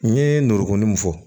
N ye n ndorokumu min fɔ